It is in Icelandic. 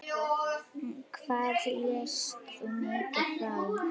Hvað lést þú mig fá?